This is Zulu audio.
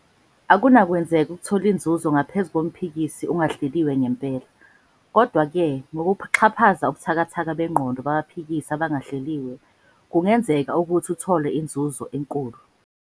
Akunakwenzeka ukuthola inzuzo ngaphezu komphikisi ongahleliwe ngempela. Kodwa-ke, ngokuxhaphaza ubuthakathaka bengqondo babaphikisi abangahleliwe, kungenzeka ukuthi uthole inzuzo enkulu.